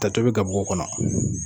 Tɛ tobi gabugu kɔnɔ